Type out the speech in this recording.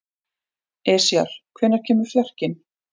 Esjar, hvenær kemur fjarkinn?